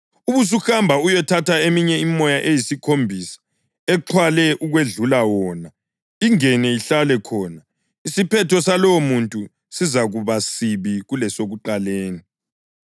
Ubusuhamba uyethatha eminye imimoya eyisikhombisa exhwale ukwedlula wona, ingene ihlale khona. Isiphetho salowomuntu sizakuba sibi kulasekuqaleni.”